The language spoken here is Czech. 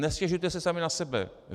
Nestěžujte si sami na sebe.